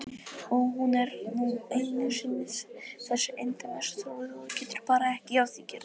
Hún er nú einu sinni þessi endemis sóði og getur bara ekki að því gert.